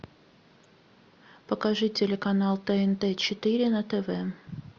покажи телеканал тнт четыре на тв